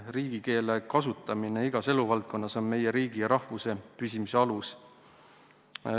Riigikeele kasutamine igas eluvaldkonnas on meie riigi ja rahvuse püsimise alus.